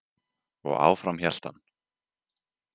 Og áfram hélt hann.